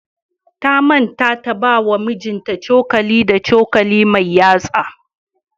Ta manta ta bawa mijinta cokali da cokali mai yatsa.